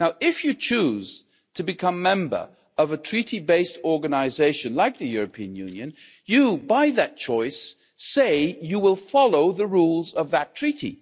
If you choose to become a member of a treaty based organisation like the European Union, you by that choice say you will follow the rules of that Treaty.